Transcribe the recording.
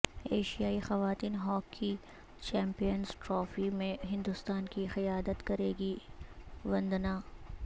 ایشیائی خواتین hockey champions trophy میں ہندوستان کی قیادت کرے گی وندنا